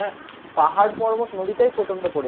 পাহাড় পর্বত নদীটাই প্রচন্ড পরিমাণে।